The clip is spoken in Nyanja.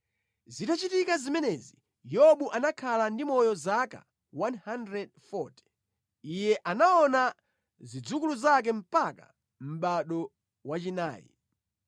Zitachitika zimenezi, Yobu anakhala ndi moyo zaka 140. Iye anaona zidzukulu zake mpaka mʼbado wachinayi.